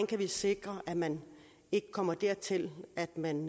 kan sikre at man ikke kommer dertil at man